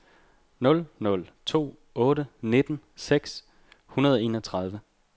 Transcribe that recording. nul nul to otte nitten seks hundrede og enogtredive